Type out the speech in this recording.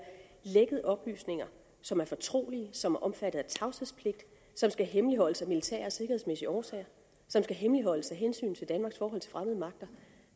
lækket oplysninger som er fortrolige som er omfattet af tavshedspligt som skal hemmeligholdes af militære og sikkerhedsmæssige årsager og som skal hemmeligholdes af hensyn til danmarks forhold til fremmede magter